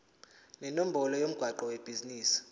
nenombolo yomgwaqo webhizinisi